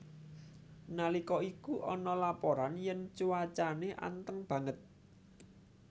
Nalika iku ana laporan yen cuacane anteng banget